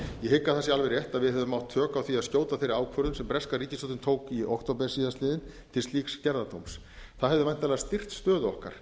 það sé alveg rétt að við höfum átt tök á því að skjóta þeirri ákvörðun sem breska ríkisstjórnin tók í október síðastliðinn til slíks gerðardóms það hefði væntanlega styrkt stöðu okkar